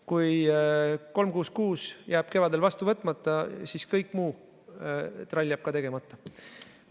Kui 366 jääb kevadel vastu võtmata, siis kõik muu trall jääb ka tegemata.